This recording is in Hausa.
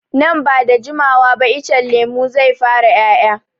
Nan ba da jimawa ba icen lemun zai fara 'ya'ya.